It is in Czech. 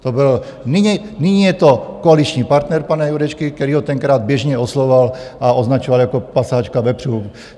Nyní je to koaliční partner pana Jurečky, který ho tenkrát běžně oslovoval a označoval jako pasáčka vepřů.